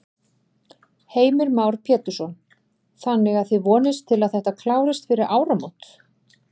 Heimir Már Pétursson: Þannig að þið vonist til að þetta klárist fyrir áramót?